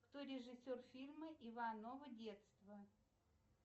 кто режиссер фильма иваново детство